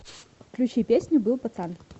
включи песня был пацан